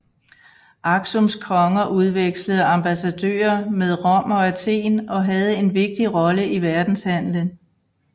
Aksums konger udvekslede ambassadører med Rom og Athen og havde en vigtig rolle i verdenshandlen